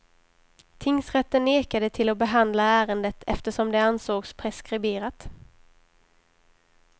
Tingsrätten nekade till att behandla ärendet eftersom det ansågs preskriberat.